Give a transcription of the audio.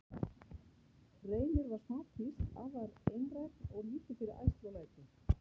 Reynir var smá písl, afar einrænn og lítið fyrir ærsl og læti.